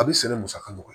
A bɛ sɛnɛ musaka dɔ